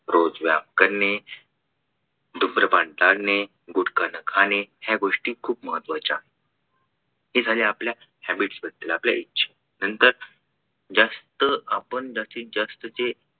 रोज व्यायाम करणे, धूम्रपान टाळणे, गुटखा न खाणे या गोष्टी खूप महत्त्वाच्या हे झाले आपल्या habits बदद्ल आपल्या इच्छे नंतर जास्त आपण जास्तीत जास्त